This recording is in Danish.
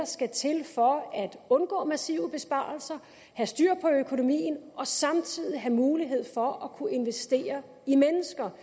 skal til for at undgå massive besparelser have styr på økonomien og samtidig have mulighed for at kunne investere i mennesker